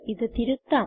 ഇത് തിരുത്താം